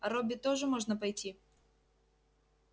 а робби тоже можно пойти